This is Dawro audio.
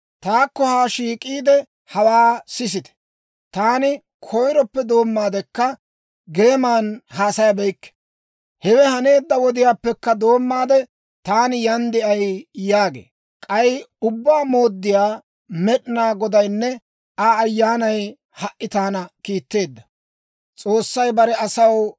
«Taakko haa shiik'iide, hawaa sisite; taani koyiroppe doommaadekka geeman haasayabeykke; hewe haneedda wodiyaappekka doommaade taani yan de'ay» yaagee. K'ay Ubbaa Mooddiyaa Med'inaa Godaynne Aa Ayyaanay ha"i taana kiitteeddino.